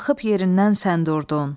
Qalxıb yerindən sən durdun.